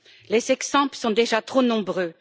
Les exemples sont déjà trop nombreux.